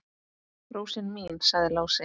Rósin mín, sagði Lási.